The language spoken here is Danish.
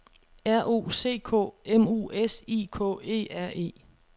R O C K M U S I K E R E